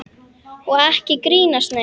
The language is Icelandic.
Og ekki grínast neitt!